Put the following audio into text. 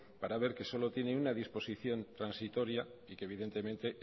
para ver que solo tiene una disposición transitoria y que evidentemente